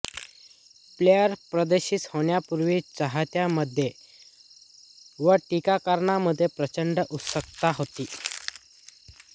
players प्रदर्शित होण्यापूर्वी चाहत्यांमध्ये व टीकाकारांमध्ये प्रचंड उत्सुकता होती